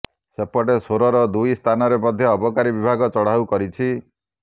ସେପଟେ ସୋରର ଦୁଇ ସ୍ଥାନରେ ମଧ୍ୟ ଅବକାରୀ ବିଭାଗ ଚଢାଉ କରିଛି